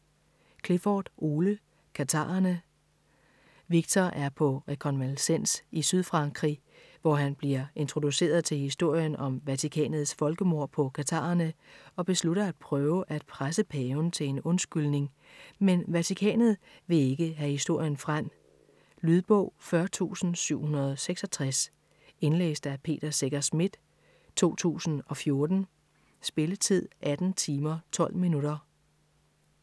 Clifford, Ole: Katharerne Viktor er på rekonvalescens i Sydfrankrig, hvor han bliver introduceret til historien om Vatikanets folkemord på katharerne og beslutter at prøve at presse Paven til en undskyldning, men Vatikanet vil ikke have historien frem. Lydbog 40766 Indlæst af Peter Secher Schmidt, 2014. Spilletid: 18 timer, 12 minutter.